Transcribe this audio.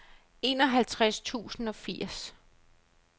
enoghalvtreds tusind og firs